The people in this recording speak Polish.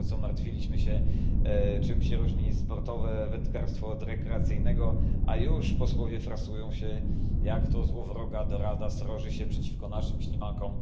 Dopiero co martwiliśmy się, czym się różni sportowe wędkarstwo od rekreacyjnego, a już posłowie frasują się, jak to złowroga dorada sroży się przeciwko naszym ślimakom.